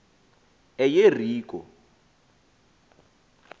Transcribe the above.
eyeriko